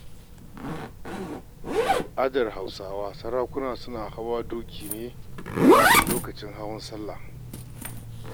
A al'adar Hausawa sarakuna suna hawa doki ne a lokacin hawan salla.